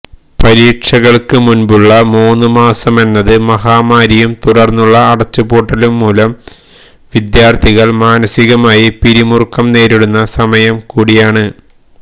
പരീക്ഷകൾക്ക് മുൻപുള്ള മൂന്ന് മാസമെന്നത് മഹാമാരിയും തുടർന്നുള്ള അടച്ചുപൂട്ടലും മൂലം വിദ്യാർഥികൾ മാനസികമായി പിരിമുറുക്കം നേരിടുന്ന സമയം കൂടിയാണ്